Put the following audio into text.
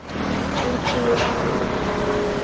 Útsýnið var enn lítið.